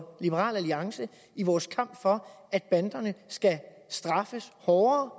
liberal alliance i vores kamp for at banderne skal straffes hårdere